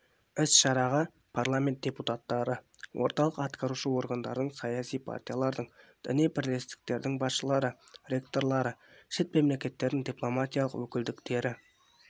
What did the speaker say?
іс-шараға парламент депутаттары орталық атқарушы органдардың саяси партиялардың діни бірлестіктердің басшылары ректорлары шет мемлекеттердің дипломатиялық өкілдіктері